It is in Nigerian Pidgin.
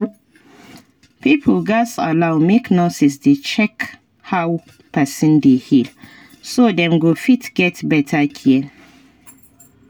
pipo gats allow make nurses dey check how person dey heal so dem go fit get better care